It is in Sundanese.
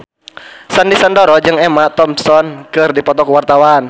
Sandy Sandoro jeung Emma Thompson keur dipoto ku wartawan